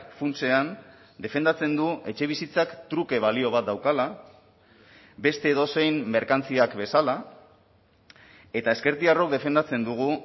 funtsean defendatzen du etxebizitzak truke balio bat daukala beste edozein merkantziak bezala eta ezkertiarrok defendatzen dugu